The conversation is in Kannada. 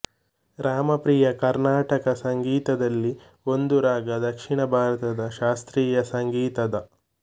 ರಾಮಪ್ರಿಯ ಕರ್ನಾಟಕ ಸಂಗೀತದಲ್ಲಿ ಒಂದು ರಾಗ ದಕ್ಷಿಣ ಭಾರತದ ಶಾಸ್ತ್ರೀಯ ಸಂಗೀತದ